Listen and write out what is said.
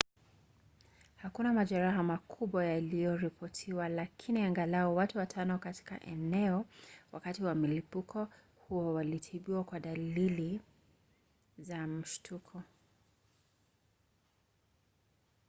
hakuna majeraha makubwa yaliyoripotiwa lakini angalau watu watano katika eneo wakati wa mlipuko huo walitibiwa kwa dalili za mshtuko